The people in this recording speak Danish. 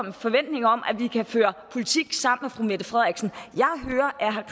en forventning om at vi kan føre politik sammen med fru mette frederiksen